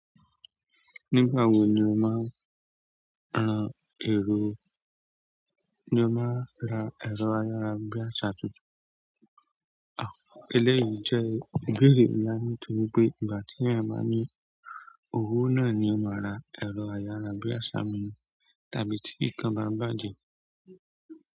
Nígbà wo ni o máa n, ran èrò, ni o máa ra ẹ̀rọ ayára bí àṣá tuntun? Ah, eléyìí jẹ́ íbeere ńlá nítorí pé ìgbà tíyan ba ní owó náà ni o máa ra ẹ̀rọ ayára bí àṣá mii tàbí tí nǹkan bá bàjẹ́.